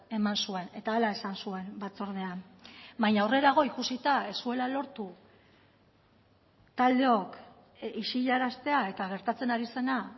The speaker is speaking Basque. eman zuen eta hala esan zuen batzordean baina aurrerago ikusita ez zuela lortu taldeok isilaraztea eta gertatzen ari zena